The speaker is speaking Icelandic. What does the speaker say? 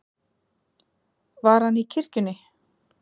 Var hann í kirkjunni?